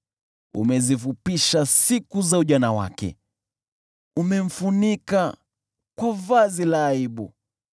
Umezifupisha siku za ujana wake, umemfunika kwa vazi la aibu.